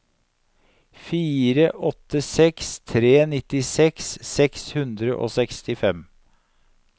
fire åtte seks tre nittiseks seks hundre og sekstifem